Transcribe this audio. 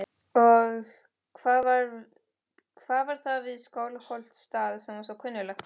Og hvað var það við Skálholtsstað sem var svo kunnuglegt?